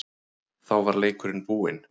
Þá var leikurinn búinn.